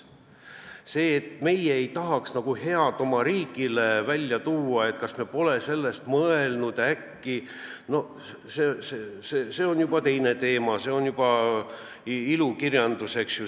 See, et me nagu ei tahaks head oma riigile, et me äkki pole sellest mõelnud – no see on juba teine teema, see on juba ilukirjandus.